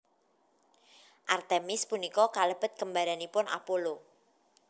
Artemis punika kalebet kembaranipun Apollo